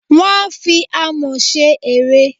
Wọ́n a fi Amọ̀ ṣe ère.